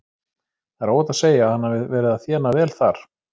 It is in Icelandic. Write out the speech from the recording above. Það er óhætt að segja að hann hafi verið að þéna vel þar.